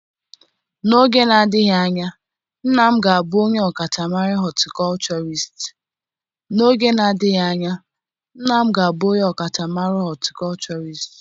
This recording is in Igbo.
N'oge na-adịghị anya nna m ga-abụ onye ọkachamara hotịkochorist.